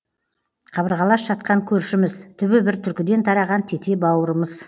қабырғалас жатқан көршіміз түбі бір түркіден тараған тете бауырымыз